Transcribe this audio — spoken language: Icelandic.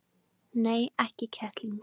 Nei, ekki kettling.